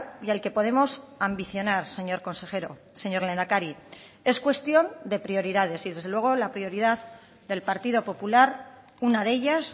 y al que podemos ambicionar señor consejero señor lehendakari es cuestión de prioridades y desde luego la prioridad del partido popular una de ellas